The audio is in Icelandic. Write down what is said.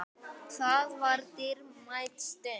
Það var dýrmæt stund.